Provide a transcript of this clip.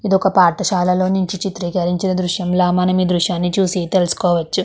ఇదొక పాఠశాలలో నుంచి చిత్రీకరించిన దృశ్యంలా మనమి దృశ్యాన్ని చూసి తెలుసుకోవచ్చు.